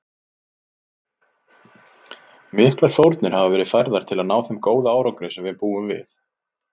Miklar fórnir hafa verið færðar til að ná þeim góða árangri sem við búum við.